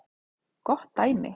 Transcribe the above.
Gott dæmi